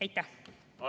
Aitäh!